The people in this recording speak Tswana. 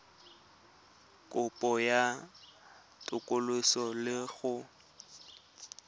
kopo ya katoloso le go